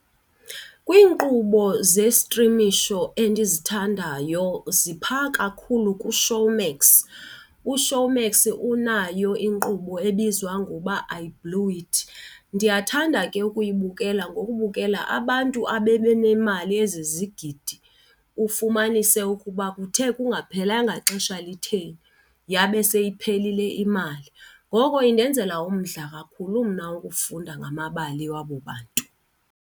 Kwiinkqubo zestrimisho endizithandayo ziphaa kakhulu kuShowmax. UShowmax unayo inkqubo ebizwa ngoba I blew it. Ndiyathanda ke ukuyibukela ngokubukela abantu ababe nemali ezizigidi ufumanise ukuba kuthe kungaphelanga xesha litheni yabe seyiphelile imali, ngoko indenzela umdla kakhulu mna ukufunda ngamabali wabo bantu.